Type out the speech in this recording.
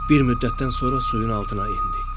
Bir müddətdən sonra suyun altına endi.